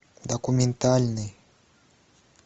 документальный